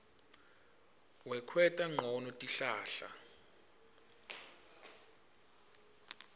wekwenta ncono tihlahla